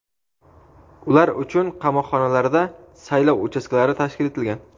Ular uchun qamoqxonalarda saylov uchastkalari tashkil etilgan.